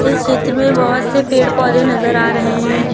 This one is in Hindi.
इस चित्र में बहुत से पेड़ पौधे नजर आ रहे हैं।